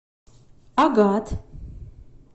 агат